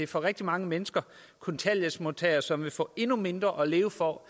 for rigtig mange mennesker kontanthjælpsmodtagere som vil få endnu mindre at leve for